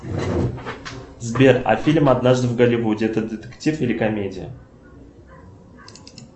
сбер а фильм однажды в голливуде это детектив или комедия